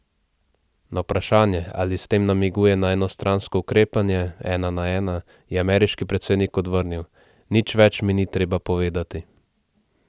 Na vprašanje, ali s tem namiguje na enostransko ukrepanje 'ena na ena', je ameriški predsednik odvrnil: 'Nič več mi ni treba povedati.